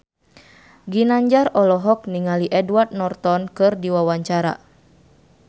Ginanjar olohok ningali Edward Norton keur diwawancara